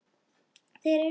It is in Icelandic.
Þeir eru þrír